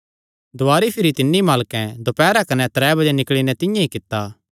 दुवारी भिरी तिन्नी मालकैं दोपैरा कने त्रै बजे निकल़ी नैं तिंआं ई कित्ता